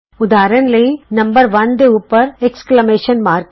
ਉਦਾਹਰਣ ਵਜੋਂ ਅੰਕ 1 ਦੇ ਉੱਪਰ ਵਿਸਮਤ ਚਿੰਨ੍ਹ ਹੈ